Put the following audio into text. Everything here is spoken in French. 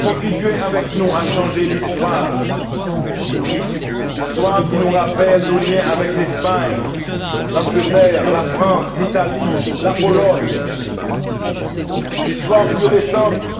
Contribuez avec nous à changer l'histoire l'histoire qui nous rappelle nos liens avec l'Espagne, l'Angleterre, la France, l'Italie, la Pologne. L'histoire plus récente